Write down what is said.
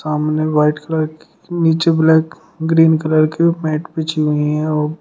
सामने white colour की नीचे ब्लैक ग्रीन कलर की मैट बिछी हुई हैं औ --